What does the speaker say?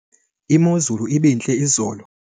imozulu ibintle izolo